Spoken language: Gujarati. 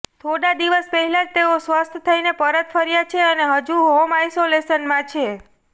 થોડા દિવસ પહેલા જ તેઓ સ્વસ્થ થઈને પરત ફર્યા છે અને હજુ હોમ આઈસોલેશનમાં છે